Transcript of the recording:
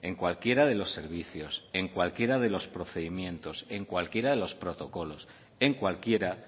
en cualquiera de los servicios en cualquiera de los procedimientos en cualquiera de los protocolos en cualquiera